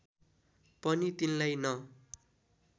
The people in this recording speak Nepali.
पनि तिनलाई न